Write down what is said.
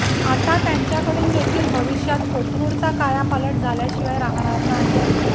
आता त्यांच्याकडून देखील भविष्यात कोथरूडचा कायापालट झाल्याशिवाय राहणार नाही